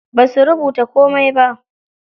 Basu rubuta komai ba.